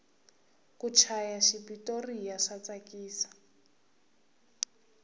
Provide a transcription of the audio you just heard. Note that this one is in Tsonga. ku chaya xipotoriya swa tsakisa